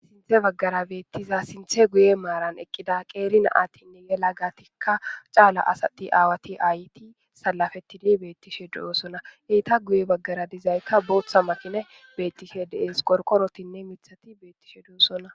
Ya bagara betiza sinthe guye maran eqida gutha natinne yekagatika cala asat ayet awat salapetid betishe de'osona, eta guye bagara dizaka Botha makinayka betishe de'es, qorqorotine mithat betishe dosona.